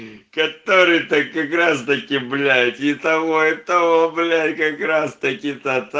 который то как раз таки блять и того и того блять как раз таки то та